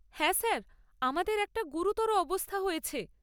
হ্যাঁ স্যার, আমাদের একটা গুরুতর অবস্থা হয়েছে।